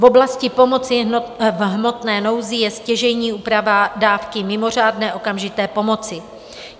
V oblasti pomoci v hmotné nouzi je stěžejní úprava dávky mimořádné okamžité pomoci.